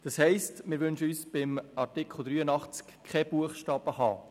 Das heisst, dass wir uns bei Artikel 83 keinen Buchstaben h wünschen.